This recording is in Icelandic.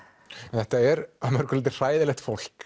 en þetta er að mörgu leyti hræðilegt fólk